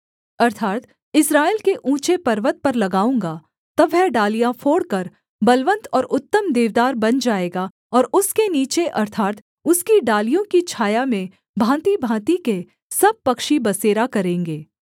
अर्थात् इस्राएल के ऊँचे पर्वत पर लगाऊँगा तब वह डालियाँ फोड़कर बलवन्त और उत्तम देवदार बन जाएगा और उसके नीचे अर्थात् उसकी डालियों की छाया में भाँतिभाँति के सब पक्षी बसेरा करेंगे